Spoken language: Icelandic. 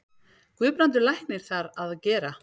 Guðbrandur læknir þar að gera.